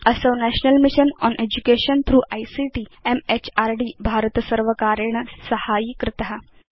असौ national mission on education through ICT म्हृद् भारतसर्वकारेण साहाय्यीकृत